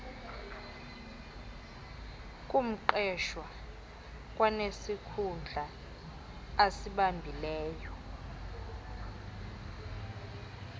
ngumqeshwa kwanesikhundla asibambileyo